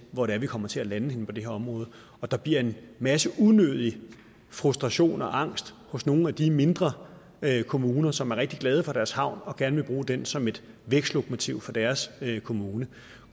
hvor det er vi kommer til at lande inden for det her område der bliver en masse unødig frustration og angst hos nogle af de mindre kommuner som er rigtig glade for deres havn og gerne vil bruge den som et vækstlokomotiv for deres kommune